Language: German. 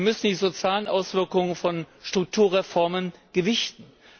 Wir müssen die sozialen Auswirkungen von Strukturreformen gewichten.